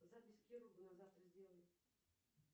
запись к хирургу на завтра сделай